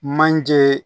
Manje